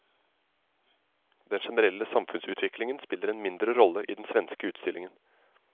Den generelle samfunnsutviklingen spiller en mindre rolle i den svenske utstillingen.